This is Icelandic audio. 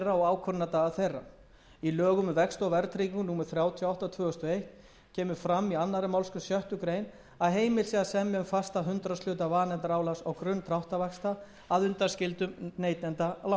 og ákvörðunardaga í lögum um vexti og verðtryggingu númer þrjátíu og átta tvö þúsund og eitt kemur fram í annarri málsgrein sjöttu grein að heimilt sé að semja um fastan hundraðshluta vanefndaálags á grunn dráttarvaxta að undanskildum neytendalánum